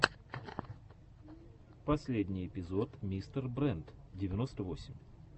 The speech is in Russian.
последний эпизод мистер брент девяносто восемь